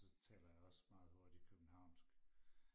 så taler jeg også meget hurtigt københavnsk